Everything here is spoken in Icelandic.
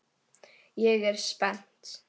Ég er spennt.